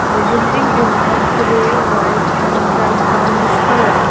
the building is a grey white and the brownish colour.